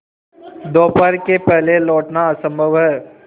दोपहर के पहले लौटना असंभव है